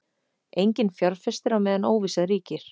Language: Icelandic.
Enginn fjárfestir á meðan óvissa ríkir